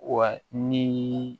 Wa ni